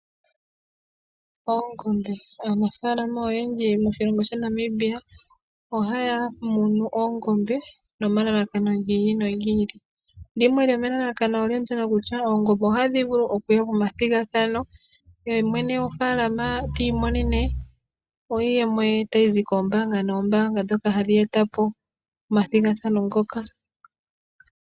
Oongombe, aanafalama oyendji moshilongo shaNamibia ohaya munu oongombe nomalalakano gi ili no gi ili. Limwe lyomomalalakano olyo kutya oongombe ohadhi vulu okuya momathigathano yemwene gwofaalama ti imonene iiyemo ye tayi zi koombaanga noombaanga dhoka hadhi etapo omathigathano ngoka.